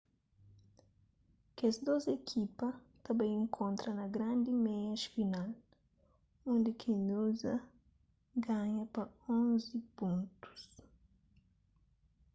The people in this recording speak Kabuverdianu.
kes dôs ekipa ta bai inkontra na grandi meias final undi ki noosa ganha pa 11 pontus